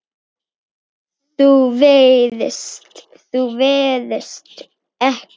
Þú varst ekki.